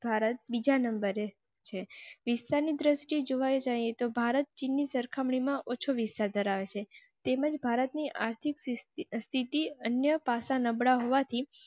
ભારત બીજા નંબરે વિસ્તાર ની દૃષ્ટિએ જોવા જાયે તો ભારત ચીન ની સરખામણી માં ઓછો વિસ્તાર ધરાવે છે તેમજ ભારતની આર્થિક સ્થિતિ અન્ય ભાષા નબળા હોવા થી